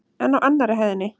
En á annarri hæðinni?